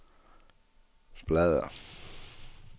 bladr